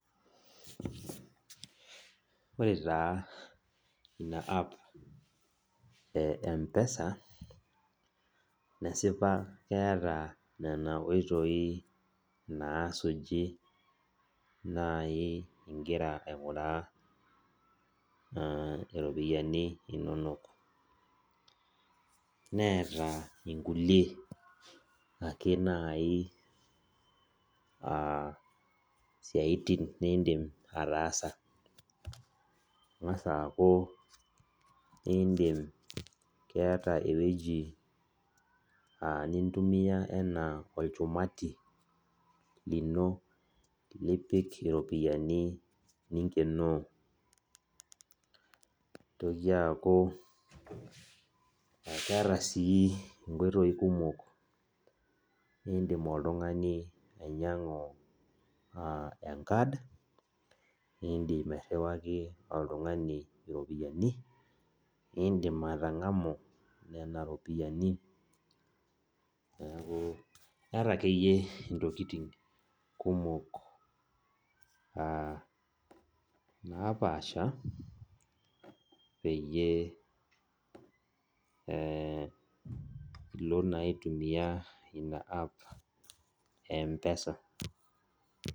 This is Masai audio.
Ore taa ina app e mpesa nesipa keeta nona oitoi nasuji nai ingira ainguraa ropiyani inonok neeta nkulie siaitin nindim ataasa ingasa aakubindim keeta ewoi nintumia ana olchumati lino lipik iropiyiani ninkenoo nitoki aaku keeta sii nkoitoi kumok nidim oltungani ainyangu enkard nindim airiwaki oltungani ropiyani nindim atangamu nona ropiyani neaku keeta akeyie ntokitin kumok napaasha peyie pilo na aitumia ina app e mpesa.